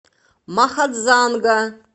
махадзанга